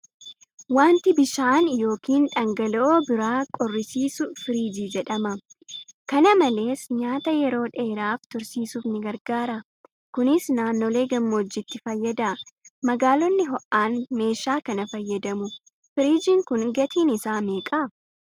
Waanti bishaan yookiin dhangala'oo biraa qorrisiisu firiijii jedhama. Kana malees, nyaata yeroo dheeraaf tursiisuuf ni gargaara. Kunis naannolee gammoojjiitti fayyada. Magaalonni ho'aan meeshaa kana fayyadamu. Firiijiin kun gatiin isaa meeqa?